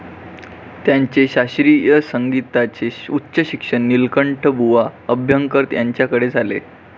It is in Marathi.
त्यांचे शास्त्रीय संगीताचे उच्च शिक्षण नीलकंठबुवा अभ्यंकर यांच्याकडे झाले.